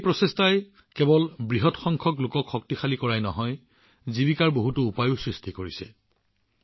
এই প্ৰচেষ্টাই কেৱল বৃহৎ সংখ্যক লোকক শক্তিশালী কৰাই নহয় লগতে জীৱিকাৰ বহুতো উপায় সৃষ্টি কৰিছে